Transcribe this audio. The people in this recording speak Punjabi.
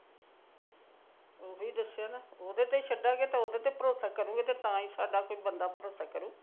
ਉਹੀ ਦੱਸਿਆ ਨਾ ਉਹਦੇ ਤੇ ਛੱਡਾਗੇ ਉਹਦੇ ਤੇ ਭਰੋਸਾ ਕਰੂ ਤਾਂ ਸਾਡਾ ਬੰਦਾ ਭਰੋਸਾ ਕਰੂ